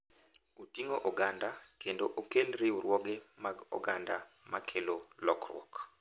Oting’o oganda, kendo okel riwruoge mag oganda ma kelo lokruok.